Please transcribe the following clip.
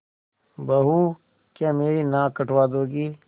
बहू क्या मेरी नाक कटवा दोगी